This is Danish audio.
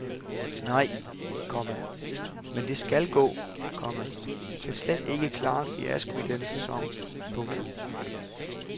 Nej, komma men det skal gå, komma vi kan slet ikke klare en fiasko i denne sæson. punktum